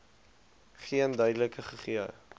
geen verduideliking gegee